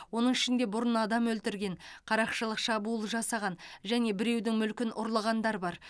оның ішінде бұрын адам өлтірген қарақшылық шабуыл жасаған және біреудің мүлкін ұрлағандар бар